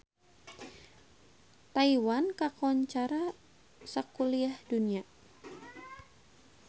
Taiwan kakoncara sakuliah dunya